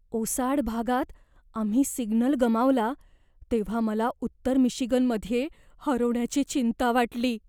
ओसाड भागात आम्ही सिग्नल गमावला तेव्हा मला उत्तर मिशिगनमध्ये हरवण्याची चिंता वाटली.